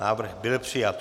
Návrh byl přijat.